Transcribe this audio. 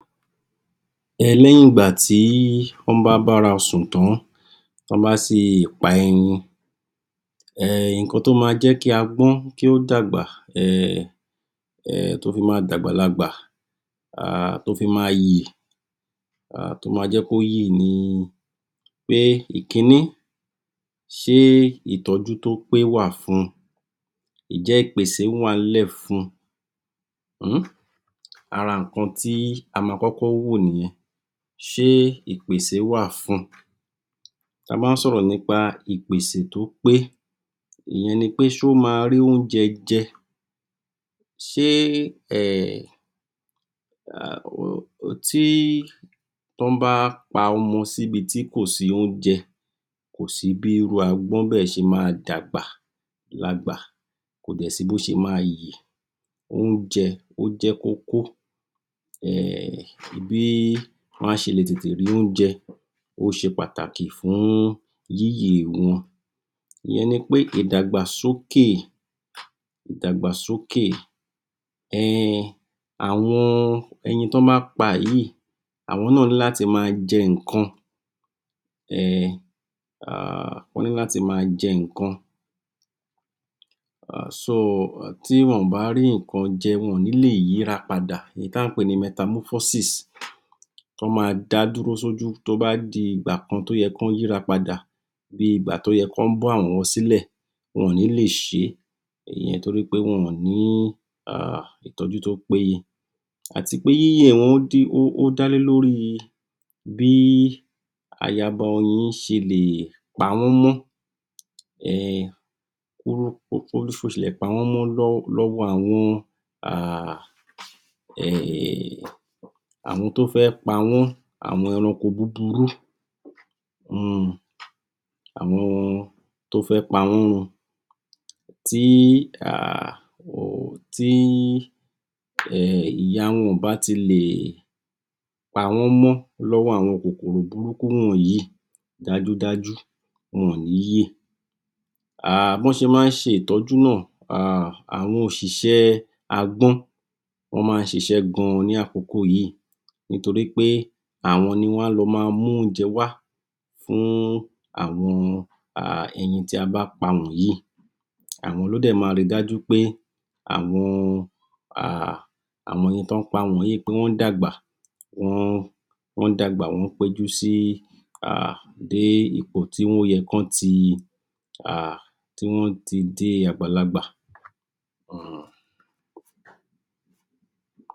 Lẹ́yìn ìgbà tí wọ́n bá bára sùn tán, tọ́ bá sì pa ẹyin um nǹkan tó ma jẹ́ kí agbọ́n kí ó dàgbà um, um tó fi ma dàgbà lagbà um tó fi ma yè ìkinní, ṣé ìtọ́jú tó péye wà fun?, ǹ jẹ́ ìpèsè wà ń lẹ̀ fun? um, ara nǹkan tí ama kọ́kọ́ wò nìyẹn, ṣé ìpèsè wà fun?, ta bá ń sọ̀rọ̀ nípa ìpèsè to pé, ìyẹn ni pé ṣóma rí oúnjẹ jẹ?, ṣe um tí wọ́n bá pa ọmọ sí ibi tí kò sí oúnjẹ kò sí bí irú agbọ́n bẹ́ẹ̀ ṣe ma dàgbàlagbà, kò dẹ̀ sí bó ṣe ma yè, oúnjẹ ó jẹ́ kókó um bí wọ́n á ṣe tètè le rí oúnjẹ ó ṣe pàtàkì fún yíyè wọn, ìyẹn ní pé ìdagbàsókè àwọn ẹyin tí wọ́n bá pa yìí, àwọn náà ní láti ma jẹ nǹkan um tí wọn ò bá rí nǹkan jẹ wọn ò nílè yíra padà, ohun tí à ń pè ni, tọ́ ma dá dúró sójú, tó bá di ìgbà kan tó yẹ kí wọ́n yíra padà, bí ìgbà tó yẹ kọ́ bọ́ áwọ̀ wọn silẹ̀, wọn ò nilè ṣe ìyẹn nítorí pé wọn ò ní um tọjú tó péye àti pé yíyè dá lé lórí bí ayaba oyin ṣe lè pawọn mọ um bó ṣe lè pawọn mọ́ lọ́wọ́ àwọn um tó fẹ́ pawọ́n, àwọn eranko buburu, àwọn to fẹ́ páwọn run, tí um ìyá wọn ò bá ti lè pawọ́n mọ́ lọ́wọ́ àwọn kòkòrò burúkú wọ̀nyí dájúdájú wọn ò ní yè. um bí wọ́n ṣe máa ń ṣe ìtọ́jú náà um àwọn òṣiṣẹ́ agbọ́n, wọ́n máa ń ṣiṣẹ́ gan-an ní àkókò yí nítorí pé àwọn ni wọ́n á lọ ma mú oúnjẹ wá fún àwọn um ẹyin tí a bá pa wọ̀nyí,, àwọn ló dè ma rí dájú wí pé àwon um ẹyin tí wọ́n ń pa wọ̀nyí wọ́n ń dàgbà, wọ́n ń péjú sí um ipò tó yẹ kí wọn ti um tí wọ́n ó ti dàgbàlagbà.